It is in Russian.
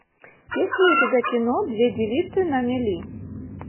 есть ли у тебя кино две девицы на мели